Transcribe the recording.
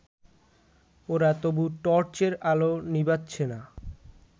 ওরা তবু টর্চের আলো নিবোচ্ছে না